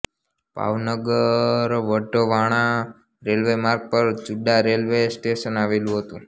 ભાવનગરવઢવાણ રેલમાર્ગ પર Chuda railway station આવેલું હતું